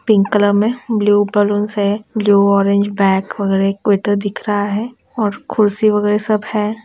Pink colour में blue balloons हैं blue orange bag वगैरह-- एक वेटर दिख रहा है और कुर्सी वगेरह सब है।